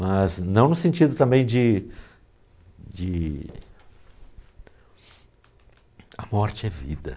Mas não no sentido também de de... A morte é vida.